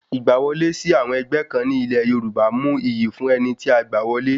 Ìgbà wọlé sí àwọn ẹgbẹ́ kan ní ilẹ̀ Yorùbá mú iyì wá fún ẹni tí a gbá wọlé